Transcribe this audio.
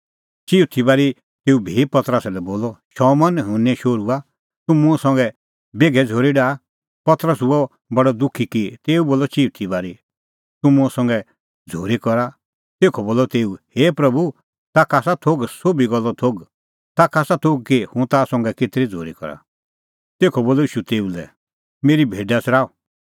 चिऊथी बारी तेऊ भी पतरसा लै बोलअ शमौन युहन्ने शोहरूआ तूह मुंह संघै बेघै झ़ूरी डाहा पतरस हुअ बडअ दुखी कि तेऊ बोलअ चिऊथी बारी तूह मुंह संघै झ़ूरी करा तेखअ बोलअ तेऊ हे प्रभू तूह ताखा आसा सोभी गल्लो थोघ ताखा आसा थोघ कि हुंह ता संघै केतरी झ़ूरी करा तेखअ बोलअ ईशू तेऊ लै मेरी भेडा च़राऊ